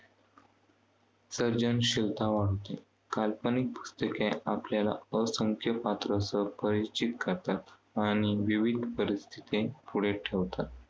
सर्जनशिलता वाढते. काल्पनिक पुस्तके आपल्याला असंख्य पात्रास परिचित करतात. आणि विविध परिस्थितीती पुढे ठेवतात.